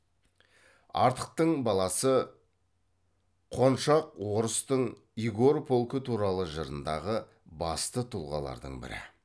артықтың баласы қоншақ орыстың игорь полкы туралы жырындағы басты тұлғалардың бірі